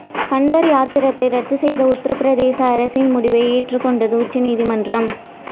கன்வர் யாத்திரையை ரத்து செய்த உத்தரப்பிரதேச அரசின் முடிவை ஏற்றுக்கொண்டது உச்சநீதிமன்றம்